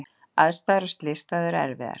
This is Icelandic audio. Aðstæður á slysstað eru erfiðar